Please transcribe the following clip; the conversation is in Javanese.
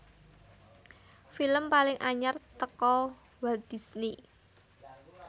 Film paling anyar teko Walt Disney